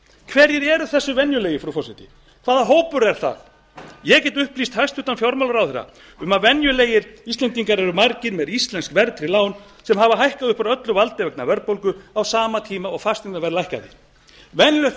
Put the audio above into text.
hverjir eru þessir venjulegu frú forseti hvaða hópur er það ég get upplýst hæstvirtur fjármálaráðherra um að venjulegir íslendingar eru margir með íslensk verðtryggð lán sem hafa hækkað upp úr öllu valdi vegna verðbólgu á sama tíma og fasteignaverð lækkaði venjulegt